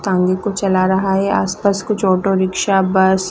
टांगे को चला रहा है आसपास कुछ ऑटो रिक्शा बस --